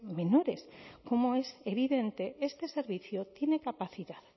menores como es evidente este servicio tiene capacidad